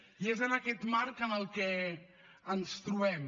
i és en aquest marc en què ens trobem